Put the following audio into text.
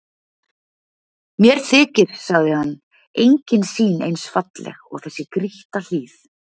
Mér þykir, sagði hann,-engin sýn eins falleg og þessi grýtta hlíð.